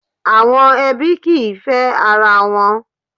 Àwọn ẹbí kìí fẹ́ ara wọn.